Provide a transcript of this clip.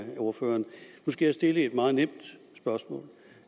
ordføreren nu skal jeg stille et meget nemt spørgsmål